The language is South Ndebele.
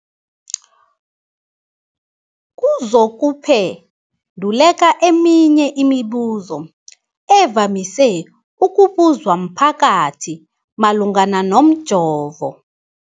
kuzokuphe nduleka eminye yemibu zo evamise ukubuzwa mphakathi malungana nomjovo.